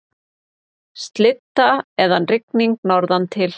Slydda eða rigning norðantil